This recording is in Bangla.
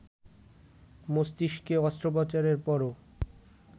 মস্তিষ্কে অস্ত্রোপচারের পরও